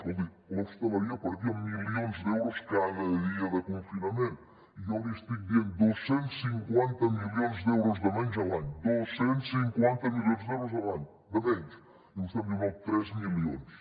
escolti l’hostaleria perdia milions d’euros cada dia de confinament i jo li estic dient dos cents i cinquanta milions d’euros de menys a l’any dos cents i cinquanta milions d’euros a l’any de menys i vostè em diu no tres milions